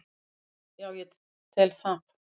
Já ég tel það.